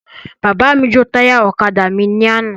Bàbá mi jo táyà ọ̀kadà mí ni àná